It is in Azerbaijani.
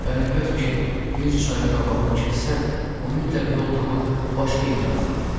"Əlbətt ki, bir çayın qabağını kəssən, o mütləq yol tapıb başqa yerə axar."